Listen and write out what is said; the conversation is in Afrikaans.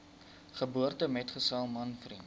geboortemetgesel man vriend